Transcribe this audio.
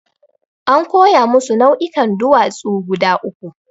An koya musu nau'ikan duwatsu guda uku.